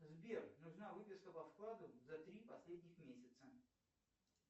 сбер нужна выписка по вкладу за три последних месяца